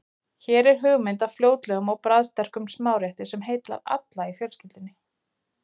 Hér er hugmynd að fljótlegum og bragðsterkum smárétti sem heillar alla í fjölskyldunni.